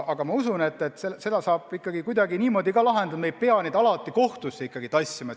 Aga ma usun, et seda saab ikkagi kuidagi niimoodi lahendada, et me ei pea inimesi alati kohtusse kohale tooma.